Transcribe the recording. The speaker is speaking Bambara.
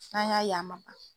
N'an y'a ye a man ban.